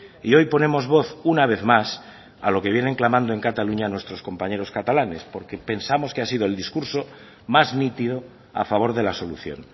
y hoy ponemos voz una vez más a lo que vienen clamando en cataluña nuestros compañeros catalanes porque pensamos que ha sido el discurso más nítido a favor de la solución